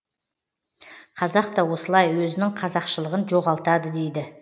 қазақ та осылай өзінің қазақшылығын жоғалтады дейді